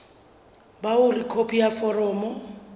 ba hore khopi ya foromo